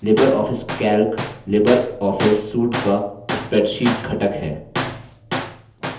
Libre Office calc Libre Office suite का spreadsheet घटक है